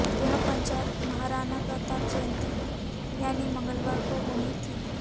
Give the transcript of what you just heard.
यह पंचायत महाराणा प्रताप जयंती यानी मंगलवार को होनी थी